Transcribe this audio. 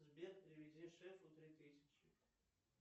сбер переведи шефу три тысячи